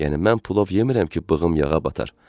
Yəni mən pulov yemmirəm ki, bığım yağa bata.